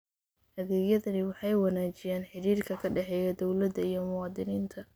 Adeegyadani waxay wanaajiyaan xidhiidhka ka dhexeeya dawladda iyo muwaadiniinta.